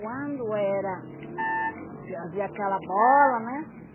Quando era... fazia aquela bola, né?